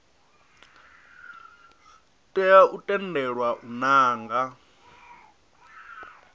tea u tendelwa u nanga